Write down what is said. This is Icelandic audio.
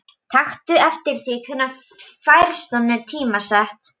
Taktu eftir því hvenær færslan er tímasett.